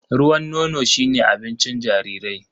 Ruwan nono shi ne abincin jarirai.